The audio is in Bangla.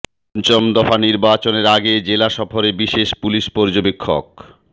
পঞ্চম দফা নির্বাচনের আগে জেলা সফরে বিশেষ পুলিস পর্যবেক্ষক